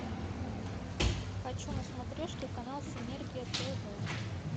хочу на смотрешке канал синергия тв